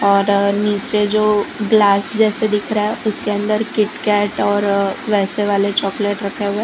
और नीचे जो ग्लास जैसे दिख रहा है उसके अंदर किटकैट और वैसे वाले चॉकलेट रखा हुआ है।